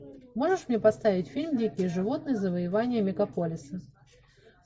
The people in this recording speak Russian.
можешь мне поставить фильм дикие животные завоевание мегаполиса